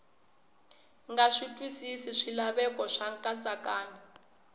nga twisisi swilaveko swa nkatsakanyo